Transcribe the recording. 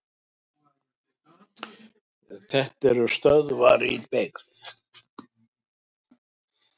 Þetta eru stöðvar í byggð.